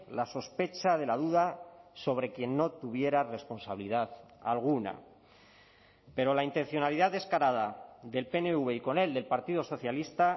la sospecha de la duda sobre quien no tuviera responsabilidad alguna pero la intencionalidad descarada del pnv y con él del partido socialista